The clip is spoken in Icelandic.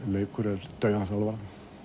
leikur er dauðans alvara